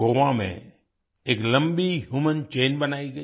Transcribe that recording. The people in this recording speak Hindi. गोवा में एक लम्बी ह्यूमन चैन बनाई गई